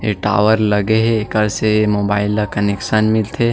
ए tower लगे हे एकर से मोबाइल ला कनेक्शन मिलथे।